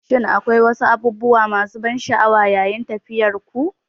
Shin akwai wasu abubuwa masu ban sha'awa yayin tafiyarku?